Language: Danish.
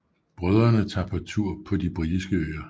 Brødrene tager på tur på de britiske øer